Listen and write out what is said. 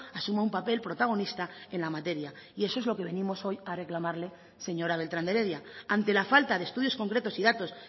asuma un papel protagonista en la materia y eso es lo que venimos hoy a reclamarle señora beltrán de heredia ante la falta de estudios concretos y datos